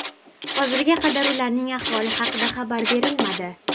Hozirga qadar ularning ahvoli haqida xabar berilmadi.